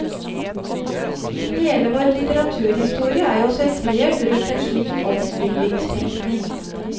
Hele vår litteraturhistorie er jo sentrert rundt en slik oppbyggingstenkning.